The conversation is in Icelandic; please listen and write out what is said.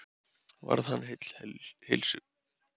Varð hann heill heilsu.